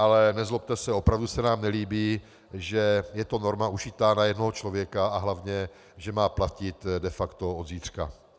Ale nezlobte se, opravdu se nám nelíbí, že je to norma ušitá na jednoho člověka a hlavně že má platit de facto od zítřka.